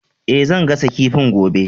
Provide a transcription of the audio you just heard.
E, zan gasa kifin gobe.